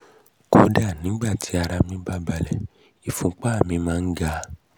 kódà nígbà tí ara mí bá balẹ̀ ìfúnpá mi máa ń ga